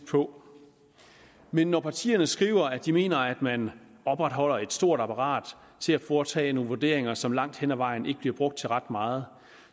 på men når partierne skriver at de mener at man opretholder et stort apparat til at foretage nogle vurderinger som langt hen ad vejen ikke bliver brugt til ret meget